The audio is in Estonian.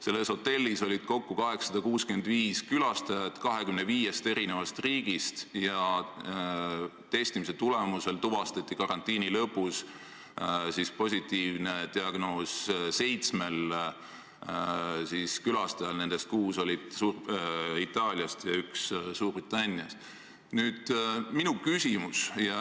Selles hotellis oli kokku 865 külastajat 25 riigist, positiivne diagnoos oli seitsmel külastajal, nendest kuus olid Itaaliast ja üks Suurbritanniast.